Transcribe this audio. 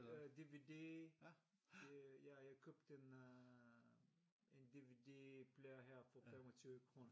Øh DVD øh jeg købte en øh DVD player her for 25 kroner